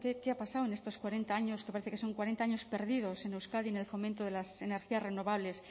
qué ha pasado en estos cuarenta años que parece que son cuarenta años perdidos en euskadi en el fomento de las energías renovables